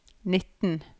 nitten